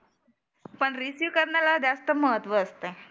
पण रिसिव्ह करण्याला जास्त महत्व असतं.